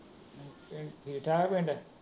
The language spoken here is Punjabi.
ਪਿੰਡ ਠੀਕ ਠਾਕ ਰਹਿੰਦਾ।